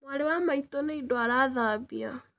Mwarĩ wa maitũ nĩ indo arathambia